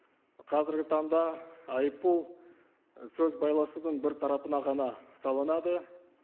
қазіргі таңда айыппұл і сөз байласудың бір тарапына ғана салынады